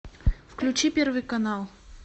включи первый канал